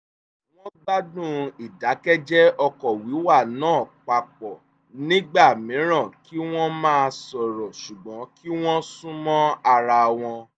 wọ́n gbádùn ìdákẹ́jẹ́ ọkọ̀ wíwà náà papọ̀ nígbà mìíràn kí wọ́n má sọ̀rọ̀ ṣùgbọ́n kí wọ́n sún mọ́ ara wọn